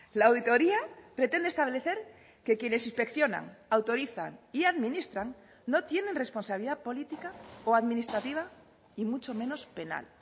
la auditoría pretende establecer que quienes inspeccionan autorizan y administran no tienen responsabilidad política o administrativa y mucho menos penal